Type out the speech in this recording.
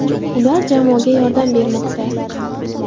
Ular jamoaga yordam bermoqda.